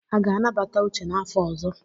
A ga-anabata Uche n'afọ ọzọ?